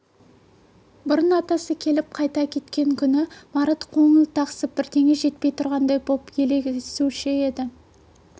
бұрын атасы келіп қайта кеткен күні марат қоңыл-тақсып бірдеңе жетпей тұрғандай боп елегізуші еді